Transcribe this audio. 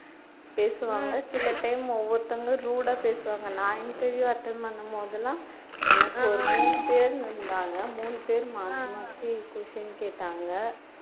பேசுவாங்க சில time ஒவ்வொருத்தவங்களும் rude ஆ பேசுவாங்க நான் interview attend பண்ணும்போதெல்லாம் எனக்கு ஒரு மூணு பேரு இருந்தாங்க மூணு பேரும் மாத்தி மாத்தி question கேட்டாங்க